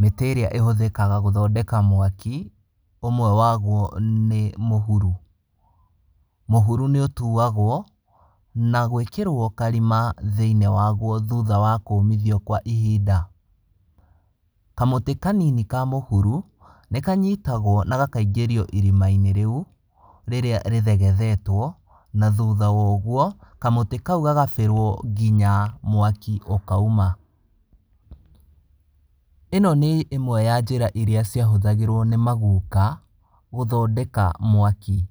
Mĩtĩ ĩrĩa ĩhũthĩkaga gũthondeka mwaki, ũmwe waguo nĩ mũhuru. Mũhuru nĩ ũtuagwo na gwĩkĩrwo karima thĩiniĩ waguo thutha wa kũmithio kwa ihinda. Kamũtĩ kanini ka mũhuru, nĩ kanyitagwo na gakaingĩrio irima-inĩ rĩu, rĩrĩa rĩthegethetwo na thutha wa ũguo, kamũtĩ kau gagabĩrwo nginya mwaki ũkauma. Ĩno nĩ njĩra ya imwe iria ciahũthagĩrwo nĩ maguka gũthondeka mwaki.